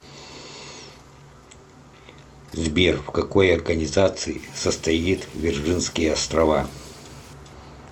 сбер в какой организации состоит вирджинские острова